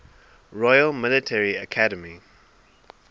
royal military academy